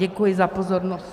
Děkuji za pozornost.